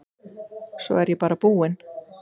Svo er ég bara búin.